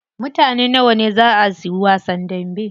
Mutane nawa ne zaa suyi wasan dambe?